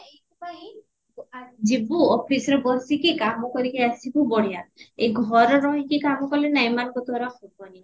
ଯିବୁ officeରେ ବସିକି କାମ କରିକି ଆସିବୁ ବଢିଆ ଏ ଘରେ ରହିକି କାମ କାଲେ ନା ଏମାନଙ୍କ ଦ୍ଵାରା ହବନି